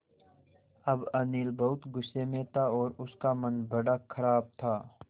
अब अनिल बहुत गु़स्से में था और उसका मन बड़ा ख़राब था